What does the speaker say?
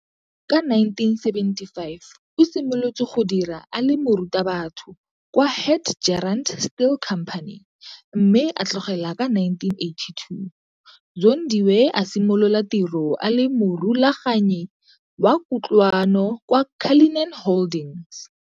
Ka 1975 o simolotse go dira a le Morutabatho kwa Hadgerand Still Company, mme a tloga ka 1982. Zondiwe a simolola tiro a le Morulaganyi wa Kutlwano kwa Cullinan Holdings.